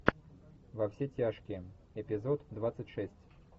во все тяжкие эпизод двадцать шесть